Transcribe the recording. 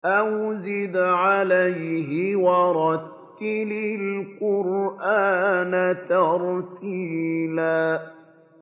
أَوْ زِدْ عَلَيْهِ وَرَتِّلِ الْقُرْآنَ تَرْتِيلًا